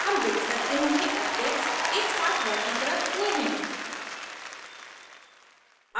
हम देख सकते हैं कि objects एकसाथ वर्गीकृत हुए हैं